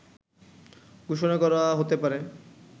ঘোষণা করা হতে পারে